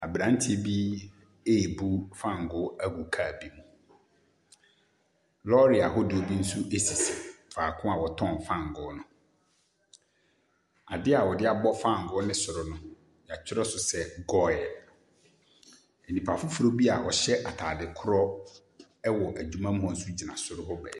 Abranteɛ bi rebu fangoo agu car bi mu. Lɔɔre ahodoɔ bi nso sisi faako a wɔtɔn fangoo no. Adeɛ a wɔde abɔ fangoo ne soro no, yɛtwerɛ so sɛ goil. Nnipa foforɔ bi a ɔhyɛ korɔ wɔ adwuma mu hɔ nso gyina soro hɔ baabi.